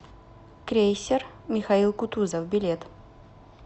крейсер михаил кутузов билет